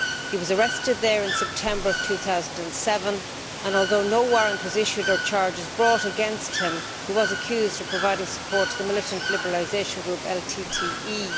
He was arrested there in September 2007 and, although no warrant was issued or charges brought against him, he was accused of providing support to the militant liberalisation group LTTE.